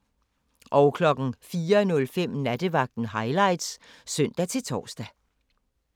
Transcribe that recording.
04:05: Nattevagten Highlights (søn-tor)